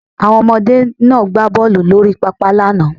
Àwọn ọmọdé náà gbá bọ́ọlù lórí pápá lánàá